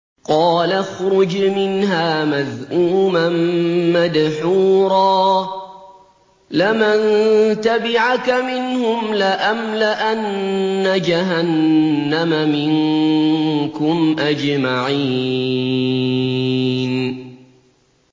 قَالَ اخْرُجْ مِنْهَا مَذْءُومًا مَّدْحُورًا ۖ لَّمَن تَبِعَكَ مِنْهُمْ لَأَمْلَأَنَّ جَهَنَّمَ مِنكُمْ أَجْمَعِينَ